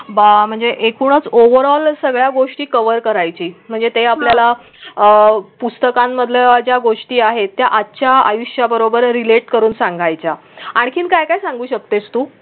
बा म्हणजे एकूणच ओवरऑल सगळ्या गोष्टी कवर करायची म्हणजे ते आपल्याला अं पुस्तकांमधल्या ज्या गोष्टी आहेत त्या आजच्या आयुष्या बरोबर रिलेट करून सांगायच्या आणखीन काय सांगू शकतेस तू?